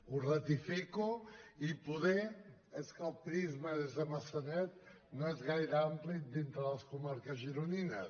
ho ratifico i poder és que el prisma des de maçanet no és gaire ampli dintre de les comarques gironines